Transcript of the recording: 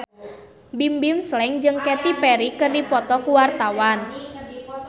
Bimbim Slank jeung Katy Perry keur dipoto ku wartawan